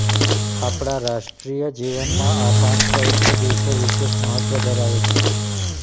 આપણા રાષ્ટ્રીય જીવનમાં આ પાંચ પવિત્ર દિવસો વિશેષ મહત્ત્વ ધરાવે છે